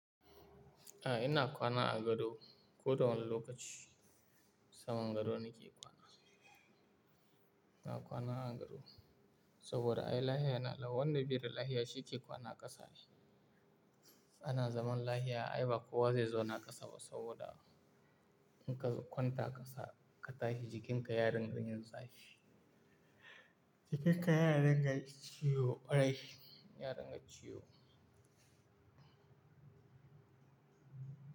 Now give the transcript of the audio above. A'a ina kwana a gado koda wani lokaci saman gado nake kwana. Ina kwana a gado saboda ai lahia yana lawa, wanda biye da lahia shi ke kwana ƙasa ne. Ana zaman lahia ayi ba kowa zai zauna ƙasa ba saboda in ka kwanta ƙasa ka tashi jikinka ya ringa yin zafi. Jikinka ya ringa ciwo, kwarai ya ringa ciwo.